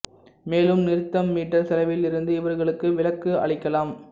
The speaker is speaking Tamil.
மேலும் நிறுத்தும் மீட்டர் செலவில் இருந்து இவர்களுக்கு விலக்கு அளிக்கலாம்